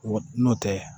Wa n'o tɛ